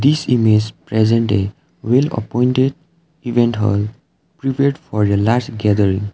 this image present a well appointed event hall prepared for a large gathering.